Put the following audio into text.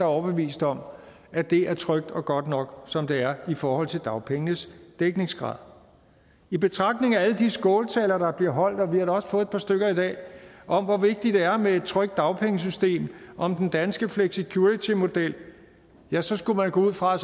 overbevist om at det er trygt og godt nok som det er i forhold til dagpengenes dækningsgrad i betragtning af alle de skåltaler der bliver holdt og vi har da også fået et par stykket i dag om hvor vigtigt det er med et trygt dagpengesystem om den danske flexicurity model ja så skulle man gå ud fra at